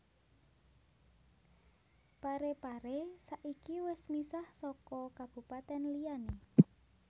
Pare Pare saiki wis misah soko kabupaten liyane